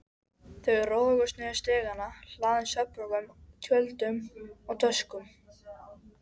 Þau roguðust niður stigana, hlaðin svefnpokum, tjöldum og töskum.